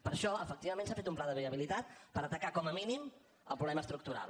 per això efectivament s’ha fet un pla de viabilitat per atacar com a mínim el problema estructural